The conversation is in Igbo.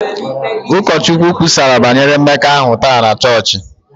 Ụkọchukwu kwusara banyere mmekọahụ taa na chọọchị